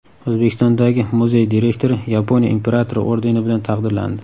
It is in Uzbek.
O‘zbekistondagi muzey direktori Yaponiya imperatori ordeni bilan taqdirlandi.